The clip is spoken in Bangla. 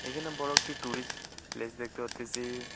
এইখানে বড় একটি টুরিস্ট প্লেস দেখতে পারতেসি।